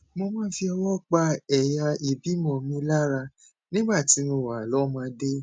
mo máa ń fọwọ pa ẹyà ìbímọ mi lára nígbà tí mo wà lọmọdé